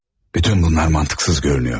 Bütün bunlar məntiqsiz görünür.